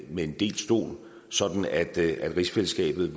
med en delt stol sådan at rigsfællesskabet